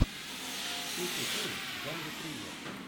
включи фильм в жанре триллер